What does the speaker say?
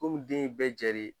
Kɔmi den ye bɛɛ jɛ de ye.